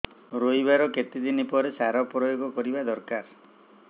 ରୋଈବା ର କେତେ ଦିନ ପରେ ସାର ପ୍ରୋୟାଗ କରିବା ଦରକାର